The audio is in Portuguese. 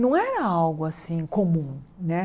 Não era algo assim comum, né?